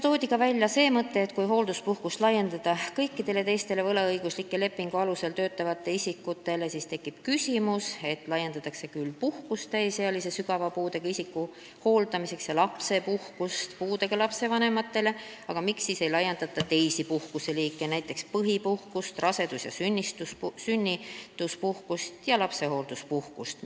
Toodi ka välja see mõte, et kui hoolduspuhkust laiendada kõikidele teistele võlaõigusliku lepingu alusel töötavatele isikutele, siis tekib küsimus, kui võimaldataks puhkust täisealise sügava puudega isiku hooldamiseks ja lapsepuhkust puudega lapse vanematele, miks siis ei laiendata teisi puhkuseliike, näiteks põhipuhkust, rasedus- ja sünnituspuhkust ja lapsehoolduspuhkust.